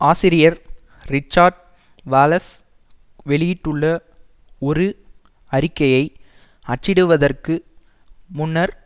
ஆசிரியர் Richard Wallace வெளியிட்டுள்ள ஒரு அறிக்கையை அச்சிடுவதற்கு முன்னர்